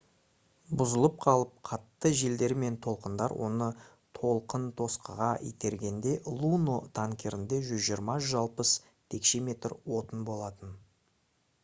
бұзылып қалып қатты желдер мен толқындар оны толқынтосқыға итергенде luno танкерінде 120-160 текше метр отын болатын